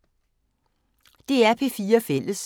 DR P4 Fælles